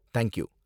thank you